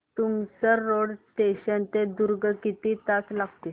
Tumsar road junction ते दुर्ग किती तास लागतील